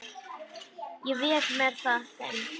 Ég vék mér að þeim.